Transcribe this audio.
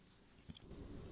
phone call 1